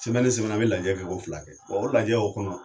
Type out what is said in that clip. Sɛmɛni o sɛmɛni an bɛ lajɛ kɛ ko fila kɛ, bɔ o lajɛ o kɔnɔ